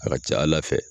A ka ca ala fɛ